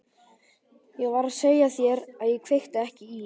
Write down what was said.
Ég var að segja þér að ég kveikti ekki í.